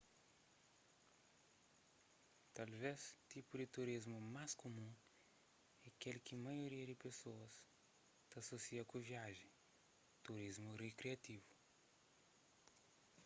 talves tipu di turismu más kumun é kel ki maioria di pesoas ta asosia ku viajen turismu rikriativu